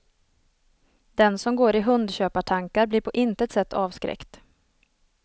Den som går i hundköpartankar blir på intet sätt avskräckt.